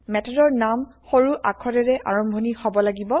মেথডৰ নাম সৰু আখৰেৰে আৰম্ভনি হব লাগিব